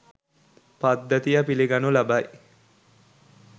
පද්ධතිය පිළිගනු ලබයි.